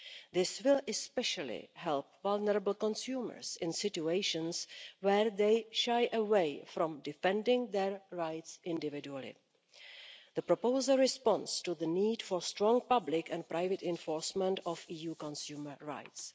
This will especially help vulnerable consumers in situations where they shy away from defending their rights individually. The proposal responds to the need for strong public and private enforcement of EU consumer rights.